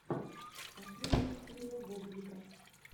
последняя серия вобзика